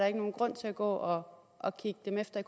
er nogen grund til at gå og kigge dem efter